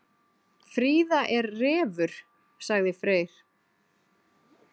Fríða er refur, sagði Freyr.